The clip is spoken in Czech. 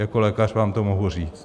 Jako lékař vám to mohu říct.